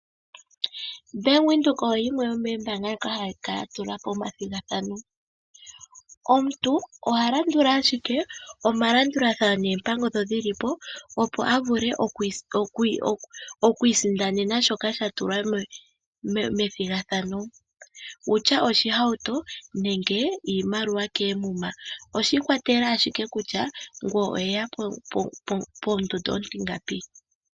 Bank Windhoek oyo yimwe yomoombaanga dhoka hadhi kala dha tulapo omathigathano, omuntu oha landula ashike omalandulathano noompango dho dhi lipo opo a vule okwiisindanena shoka sha tulwa methigathano, wutya oshihauto nenge iimaliwa koomuma oshiikwatelela ashike kutya ngoye oweya pondondo ontingapi.